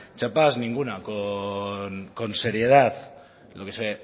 chapas ninguna con seriedad lo que se